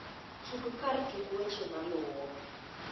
tug kar tuk weche maluo